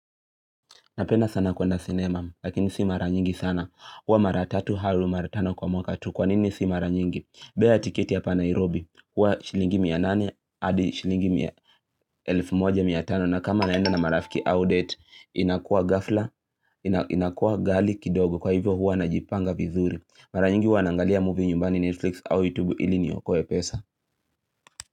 Napenda sana kuenda sinema lakini si mara nyingi sana Huwa mara tatu au mara tano kwa mwaka tu Kwanini si mara nyingi bei ya tiketi hapa nairobi Huwa shilingi mia nane hadi shilingi mia elifu moja mia tano na kama naenda na marafiki au date inakua ghafla, inakuwa ghali kidogo kwa hivyo huwa najipanga vizuri Mara nyingi huwa nangalia movie nyumbani Netflix au YouTube ili niokoe pesa.